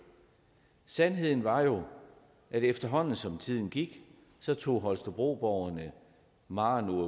sandheden er jo at efterhånden som tiden gik tog holstebroerne maren o